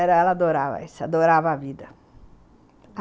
Ela ela adorava isso, adorava a vida.